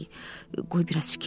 Qoy biraz fikirləşim.